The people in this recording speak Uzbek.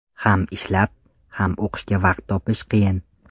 Ham ishlab, ham o‘qishga vaqt topish qiyin.